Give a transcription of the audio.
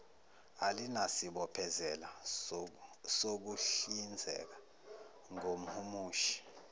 alinasibophezelo sokuhlinzeka ngomhumushi